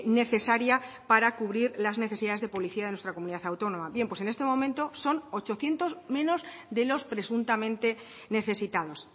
necesaria para cubrir la necesidades de policía de nuestra comunidad autónoma bien pues en este momento son ochocientos menos de los presuntamente necesitados